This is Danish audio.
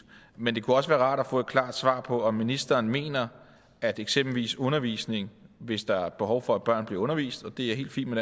men det kunne også være rart at få et klart svar på om ministeren mener at eksempelvis undervisning hvis der er behov for at børn bliver undervist og det er helt fint med